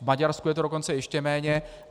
V Maďarsku je to dokonce ještě méně.